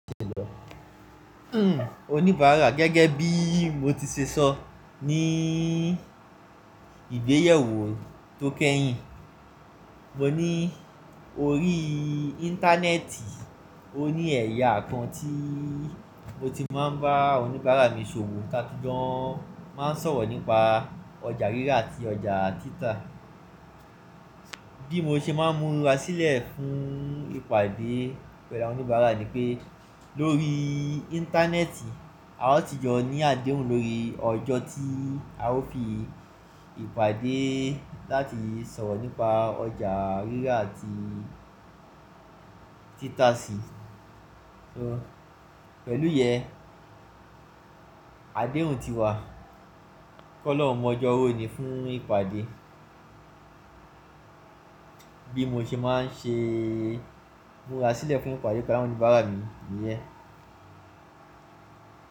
Oníbàárà gẹ́gẹ́ bí mo ti ṣe sọ ní ìgbéyàwó tó kẹ́yìn, mo ní orí Íńtánẹ́ẹ̀tì, ó ní ẹ̀yà kan tí mo ti máa ń bá oníbàárà mi ṣòwò, táa ti jo n máa ń sọ̀rọ̀ nípa ọjà rírà àti ọjà títà. Bí mo ṣe máa ń múra sílẹ̀ fún ìpàdé pẹ̀lú awon oníbàárà ni pé lórí Íńtánẹ́ẹ̀tì, a ó ti jọ ní àdéhùn lórí ọjọ́ tí a ó fi ìpàdé láti sọ̀rọ̀ nípa ọjà rírà àti títà sí. Pẹ̀lú yẹ, àdéhùn ti wà. Kọ́ lọ́hun mọ̀ọ́jọ́ ró ni fún ìpàdé. Bí mo ṣe máa ń ṣe múra sílẹ̀ fún ìpàdé pẹ̀lú oníbàárà mi níyẹn.